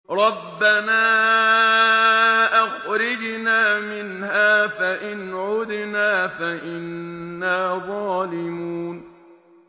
رَبَّنَا أَخْرِجْنَا مِنْهَا فَإِنْ عُدْنَا فَإِنَّا ظَالِمُونَ